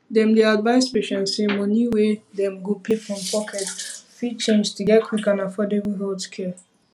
dem dey advise patients say money wey dem go um pay from pocket fit change to get quick and affordable healthcare